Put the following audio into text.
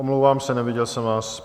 Omlouvám se, neviděl jsem vás.